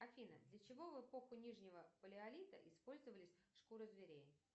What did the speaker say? афина для чего в эпоху нижнего палеолита использовались шкуры зверей